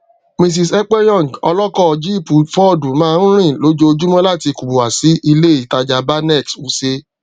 mrs ekpenyong ọlọkọ jípù fọọdù máa ń rìn lójoojúmọ láti kubwa sí ilé ìtajà banex wuse